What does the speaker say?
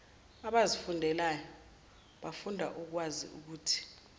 abazifundelwayo bafunda ukwaziukuthi